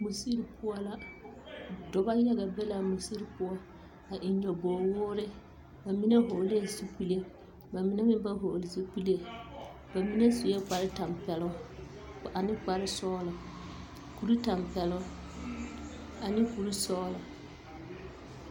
Mosiri poɔ la dɔba yaga be la a mosiri poɔ a eŋ nyɔɔbogwoore ba mine vɔglɛɛ zupile ba mine meŋ ba hɔgle zupile ba mine sue kpartɛmpɛloŋ ane kparsɔgla kurtɛmpɛloŋ ane kursɔgla.